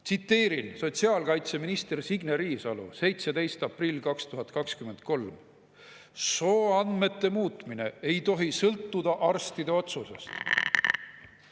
Tsiteerin sotsiaalkaitseminister Signe Riisalot, 17. aprill 2023: "Sooandmete muutmine ei tohi sõltuda arstide otsusest.